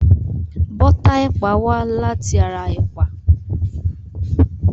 Bọ́tà ẹ̀pà wá láti ara ẹ̀pà.